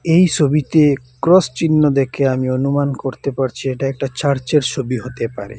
এই সবিতে ক্রস চিহ্ন দেখে আমি অনুমান করতে পারছি এটা একটা চার্চের ছবি হতে পারে।